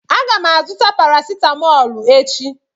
Aga m azụta parasitamol echi.